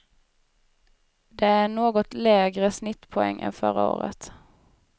Det är en något lägre snittpoäng än förra året.